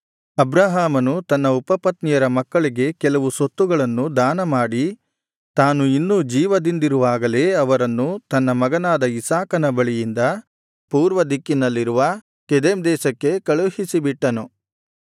ಅಬ್ರಹಾಮನು ತನ್ನ ಉಪಪತ್ನಿಯರ ಮಕ್ಕಳಿಗೆ ಕೆಲವು ಸೊತ್ತುಗಳನ್ನು ದಾನಮಾಡಿ ತಾನು ಇನ್ನೂ ಜೀವದಿಂದಿರುವಾಗಲೇ ಅವರನ್ನು ತನ್ನ ಮಗನಾದ ಇಸಾಕನ ಬಳಿಯಿಂದ ಪೂರ್ವ ದಿಕ್ಕಿನಲ್ಲಿರುವ ಕೆದೆಮ್ ದೇಶಕ್ಕೆ ಕಳುಹಿಸಿ ಬಿಟ್ಟನು